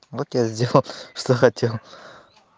вот я сделал ха что хотел